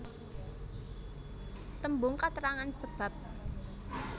Tembung katrangan sebab